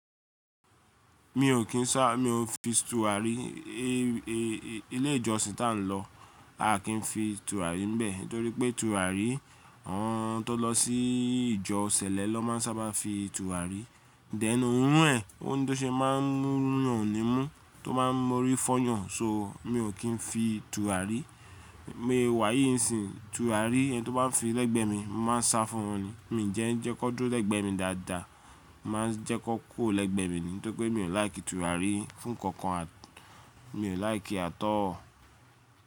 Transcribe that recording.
Mi ò kín sá, mi ò fin tùràrí, ilé ìjọsìn ta n lọ, a ki n fin tùràrí ńbẹ̀, nítorí pé tùràrí, àwọn tó lọ sí ìjọ ṣẹlẹ ló má n sábà fi tùràrí. Thẹ̀n oorún ẹ̀, ó ní tó ṣe máa ń maa n rún nì imú, tó maá n mu orí fọyàn, so mi ò kín fin tùràrí. Bi mo se wà yìnsìn tùràrí ẹni tó bá fin lẹ́gbẹ̀mi, mo má a n sá fún wọn ni. Mi ń jẹ́ n jẹ́ kan dúró lẹ́gbẹ̀mi dáadáa, má a n jẹ́ kan kùro lẹ́gbẹ̀ mi ni, nítorí pé mi ò láìkì tùràrí fú nnkankan, mi ò láìkì at all.